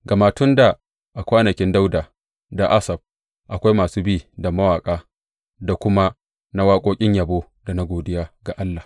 Gama tun dā, a kwanakin Dawuda da Asaf, akwai masu bi da mawaƙa da kuma na waƙoƙin yabo da na godiya ga Allah.